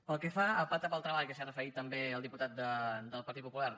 pel que fa al pacte pel treball que s’hi ha referit també el diputat del partit popular